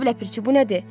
Cənab Ləpirçi, bu nədir?